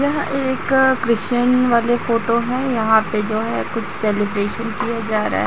यह एक क्रिश्चियन वाले फोटो है यहां पे जो है कुछ सेलिब्रेशन किया जा रहा है।